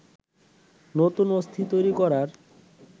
নতুন অস্থি তৈরি করার